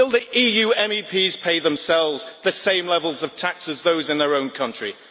And will the EU MEPs pay themselves at the same levels of tax as in their own countries?